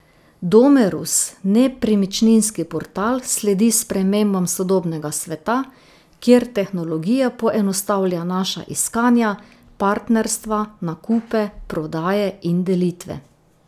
Domerus nepremičninski portal sledi spremembam sodobnega sveta, kjer tehnologija poenostavlja naša iskanja, partnerstva, nakupe, prodaje in delitve.